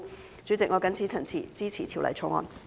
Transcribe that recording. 代理主席，我謹此陳辭，支持《條例草案》。